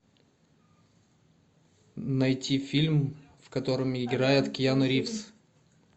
найти фильм в котором играет киану ривз